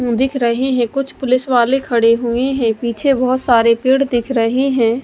दिख रही है। कुछ पुलिस वाले खडे हुए है। पीछे बहोत सारे पेड़ दिख रहे हैं।